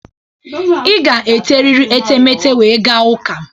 Ị ga-eteriri etemete wee gaa ụka.